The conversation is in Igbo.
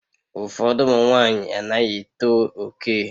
Ụfọdụ ụmụ nwanyị anaghị eto oke